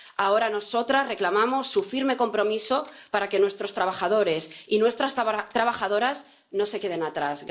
Ahora nosotras reclamamos su firme compromiso para que nuestros trabajadores y nuestras trabajadoras no se quedan atrás.